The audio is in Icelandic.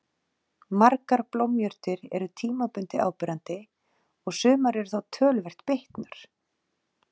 Margar blómjurtir eru tímabundið áberandi og sumar eru þá töluvert bitnar.